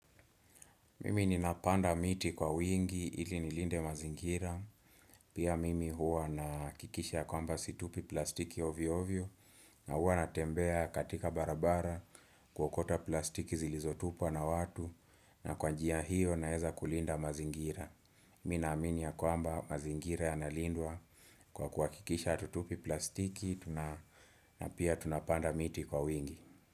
Mimi ninapanda miti kwa wingi ili nilinde mazingira Pia mimi huwa nahakikisha ya kwamba situpi plastiki ovyo ovyom na huwa natembea katika barabara kuokota plastiki zilizotupwa na watu na kwa njia hiyo naeza kulinda mazingira Mimi naamini ya kwamba mazingira yanalindwa kwa kuhakikisha hatutupi plastiki tuna na pia tunapanda miti kwa wingi.